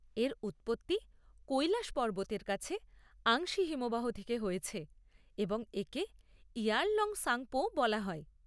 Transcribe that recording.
এর উৎপত্তি কৈলাশ পর্বতের কাছে আংসি হিমবাহ থেকে হয়েছে এবং একে ইয়ারলং সাংপো ও বলা হয়।